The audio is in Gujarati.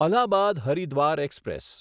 અલ્હાબાદ હરિદ્વાર એક્સપ્રેસ